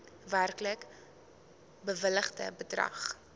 werklik bewilligde bedrag